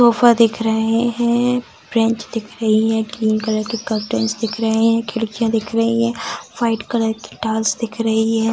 Sofa दिख रहे है बेंच दिख रही है ग्रीन कलर की कर्टनस दिख रहे है खिड़कियां दिख रही है व्हाइट कलर की टॉवेल्स दिख रही है।